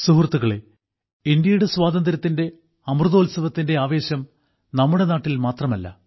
സുഹൃത്തുക്കളെ ഇന്ത്യയുടെ സ്വാതന്ത്ര്യത്തിന്റെ അമൃതോത്സവത്തിന്റെ ആവേശം നമ്മുടെ നാട്ടിൽ മാത്രമല്ല